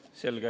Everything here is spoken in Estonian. Selge.